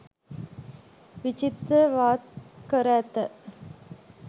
විචිත්‍රවත් කර ඇත.